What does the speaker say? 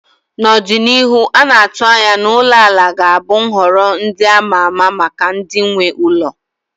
Na ọdịnihu, a na-atụ anya na ulo ala ga-abụ nhọrọ ndị a ma ama maka ndị nwe ụlọ